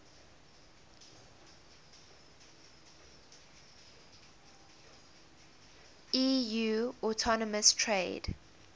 eu autonomous trade